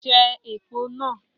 Je èpo náà